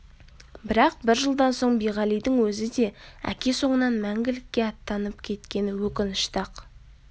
бірақ бір жылдан соң биғалидың өзі де әке соңынан мәңгілікке аттанып кеткені өкінішті-ақ